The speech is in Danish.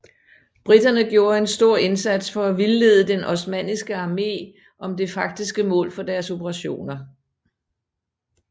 Briterne gjorde en stor indsats for at vildlede den osmanniske armé om det faktiske mål for deres operationer